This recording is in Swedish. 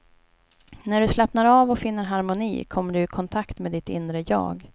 När du slappnar av och finner harmoni kommer du i kontakt med ditt inre jag.